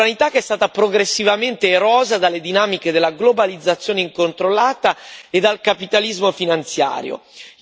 Sovranità che è stata progressivamente erosa dalle dinamiche della globalizzazione incontrollata e dal capitalismo finanziario.